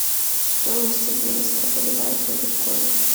стоимость обмена ста боливаров на биткоин